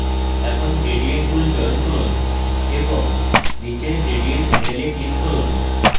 এখন gradient tool চয়ন করুন এবং নীচের gradient হ্যান্ডেলে click করুন